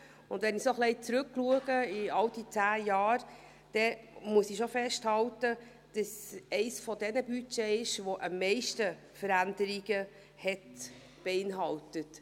Wenn ich auf diese zehn Jahre zurückblicke, muss ich festhalten, dass es zu denjenigen Budgets gehört, die am meisten Veränderungen beinhalten.